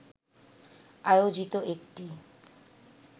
আয়োজিত একটি